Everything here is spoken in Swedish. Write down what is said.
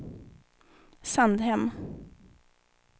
Sandhem